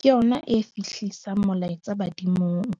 Ke yona e fihlisang molaetsa badimong.